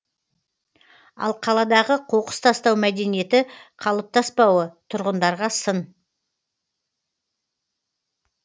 ал қаладағы қоқыс тастау мәдениеті қалыптаспауы тұрғындарға сын